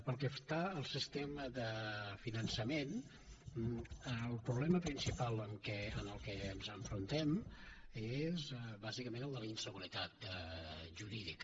pel que fa al sistema de finançament el problema principal amb què ens enfrontem és bàsicament el de la inseguretat jurídica